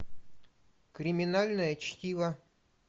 криминальное чтиво